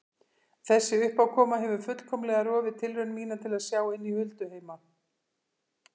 Þessi uppákoma hefur fullkomlega rofið tilraun mína til að sjá inn í hulduheima.